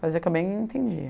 Fazia o que eu bem entendia.